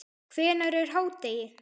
Hvenær er hádegi?